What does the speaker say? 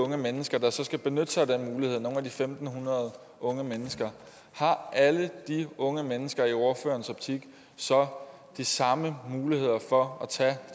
unge mennesker der så skal benytte sig af den mulighed nogle af de fem hundrede unge mennesker har alle de unge mennesker i ordførerens optik så de samme muligheder for at tage